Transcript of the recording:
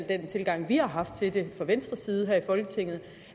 den tilgang vi har haft til det fra venstres side her i folketinget